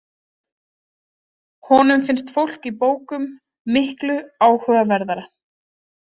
Honum finnst fólk í bókum miklu áhugaverðara.